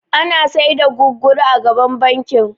Ana sai da guguru a gaban bankin